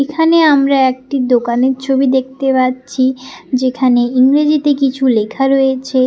এখানে আমরা একটি দোকানের ছবি দেখতে পাচ্ছি যেখানে ইংরেজিতে কিছু লেখা রয়েছে।